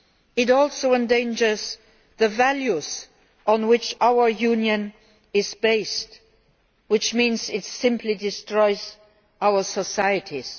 It also endangers the values on which our Union is based, which means it simply destroys our societies.